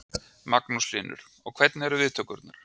Magnús Hlynur: Og hvernig eru viðtökurnar?